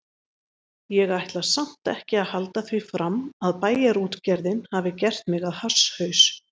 Ég ætla samt ekki að halda því fram að Bæjarútgerðin hafi gert mig að hasshaus.